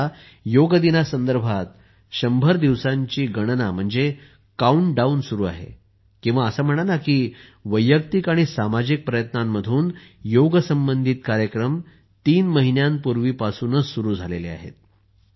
सध्या योग दिना संदर्भात 100 दिवसांची गणना काउंटडाउन सुरू आहे किंवा असे म्हणा ना की वैयक्तिक आणि सामाजिक प्रयत्नांतून योगसंबंधित कार्यक्रम तीन महिन्यांपूर्वीपासूनच सुरू झाले आहेत